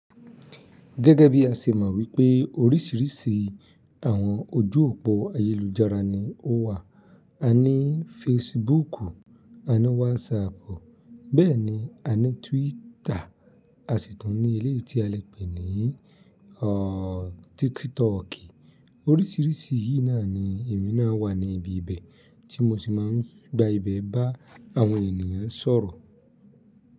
Gẹ́gẹ́ bí a ṣe mọ̀ wípé oríṣiríṣi àwọn ojú òpó ayélujára ni ó wà. A ní fesibuuku, a ní Wasaapu, bẹ́ẹ̀ ni a ní Twita, àṣìtún ní ilé tí a lè pè ní aaaa Tikitooki Oríṣiríṣi yìí náà ni èmi náà wà ní ibi ibẹ̀, tí mo sì máa ń gba ibẹ̀ bá àwọn ènìyàn sọ̀rọ̀.